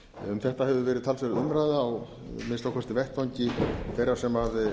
um þetta hefur verið talsverð umræða á að minnsta kosti vettvangi þeirra sem